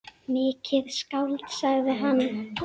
Mikið skáld, sagði hann.